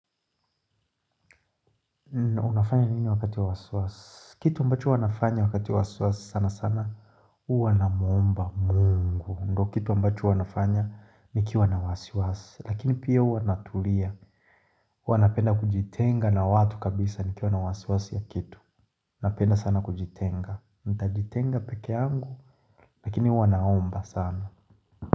Unafanya nini wakati wasiwasi? Kitu ambacho wanafanya wakati wasiwasi sana sana huwa naomba mungu ndo kitu mbacho huwa nafanya nikiwa na wasiwasi Lakini pia uwanatulia Huwa napenda kujitenga na watu kabisa nikiwa na wasiwasi ya kitu napenda sana kujitenga Ntajitenga peke angu Lakini huwa naomba sana.